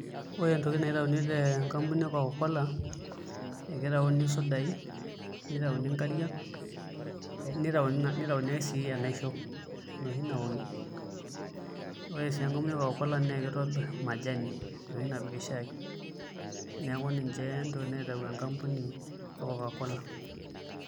Ore ntokiting naitayuni tenkampuni kcokakola ekitayuni sudai, nitayuni nkariak, nitayuni sii enaisho enoshi naoki. Ore sii enkampuni ekokakola naa kitobir majani enoshi napiki shaai neeku ninche ntokiting naitayu enkampuni ekokakola